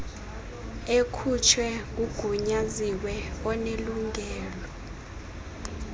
ekhutshwe ngugunyaziwe onelungelo